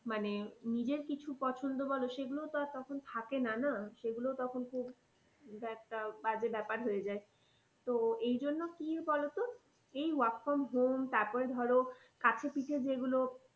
মানে নিজের কিছু পছন্দ বলো সেগুলো তো আর তখন থাকে না না সেগুলো তখন খুব একটা বাজে ব্যাপার হয়ে যায়। তো এই জন্য কি বলতো এই work from home তারপরে ধরো কাছে পিঠে যেগুলো